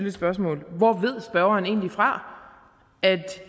et spørgsmål hvor ved spørgeren egentlig fra at